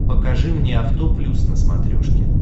покажи мне авто плюс на смотрешке